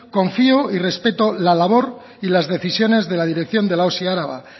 confío y respeto la labor y las decisiones de la dirección de la osi araba